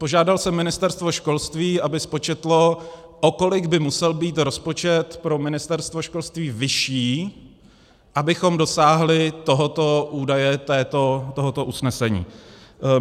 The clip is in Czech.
Požádal jsem Ministerstvo školství, aby spočetlo, o kolik by musel být rozpočet pro Ministerstvo školství vyšší, abychom dosáhli tohoto údaje, tohoto usnesení.